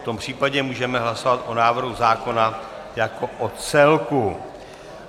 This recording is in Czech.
V tom případě můžeme hlasovat o návrhu zákona jako o celku.